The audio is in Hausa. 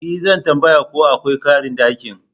E! Zan tambaya ko akwai karin daki.